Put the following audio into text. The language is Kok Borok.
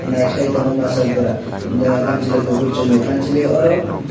nai kelaitango masa bora kansaloi kopor somoi kansaloi oro.